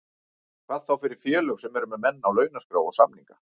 Hvað þá fyrir félög sem eru með menn á launaskrá og samninga.